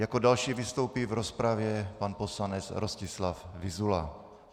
Jako další vystoupí v rozpravě pan poslanec Rostislav Vyzula.